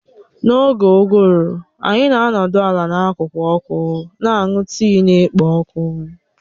N'oge uguru anyị na-anọdụ ala n'akụkụ ọkụ, na-aṅụ tii na-ekpo ọkụ